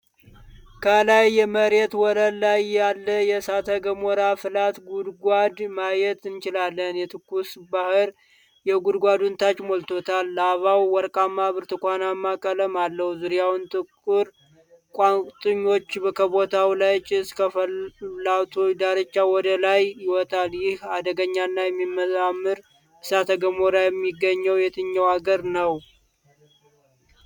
ከላይ የመሬት ወለል ላይ ያለ የእሳተ ገሞራ ፍላት ጉድጓድ ማየት እንችላለን። የትኩስባህር የጉድጓዱን ታች ሞልቶታል። ላቫው ወርቃማ ብርቱካንማ ቀለም አለው፣ ዙሪያውን ጥቁር ቋጥኞች ከቦታል። ጭስ ከፍላቱ ዳርቻ ወደ ላይ ይወጣል። ይህ አደገኛና የሚያምር እሳተ ገሞራ የሚገኘው የትኛው አገር ነው?